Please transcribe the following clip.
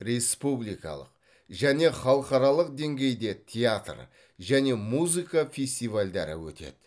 республикалық және халықаралық деңгейде театр және музыка фестивальдері өтеді